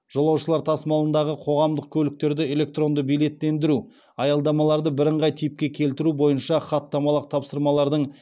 жолаушылар тасымалындағы қоғамдық көліктерді электронды билеттендіру аялдамаларды бірыңғай типке келтіру бойынша хаттамалық тапсырмалардың